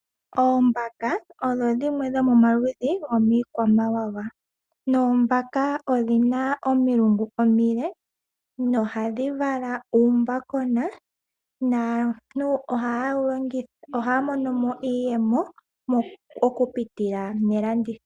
Oombaka odho dhimwe dhomomaludhi gomiikwamawawa noombaka odhina omilungu omile no ohadhi vala uumbakona naantu ohaya monomo iiyemo okupitila melanditho.